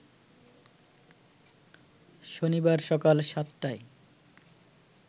শনিবার সকাল সাতটায়